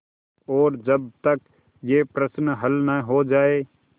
और जब तक यह प्रश्न हल न हो जाय